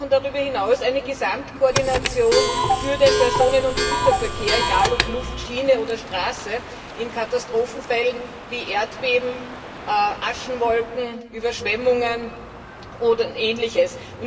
Darüber hinaus brauchen wir aber eine Gesamtkoordination für den Personen und Güterverkehr, egal ob Luft, Schiene oder Straße, in Katastrophenfällen wie Erdbeben, Aschewolken, Überschwemmungen oder Ähnlichem.